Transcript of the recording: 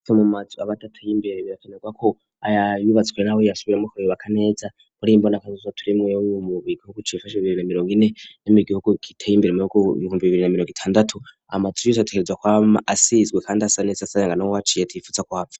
afe mu madzi abatatu yimbere birakanagwa ko aya wibatswe rawo yasiwire muhoro bakanayedza koli imboni akazizwa turi mwe yowome mu big wokuchiifacha birira mirongo ine ya migi okukita yimbiremeroko ivumbi birina mirokithandatu amadzi ozatekeredzwa kwama asiyizwe khandi asanetsi asayanga na wowatchire ti ifutsa kuhava.